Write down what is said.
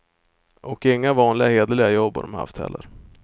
Och inga vanliga hederliga jobb har dom haft heller.